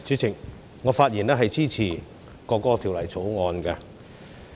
主席，我發言支持《國歌條例草案》。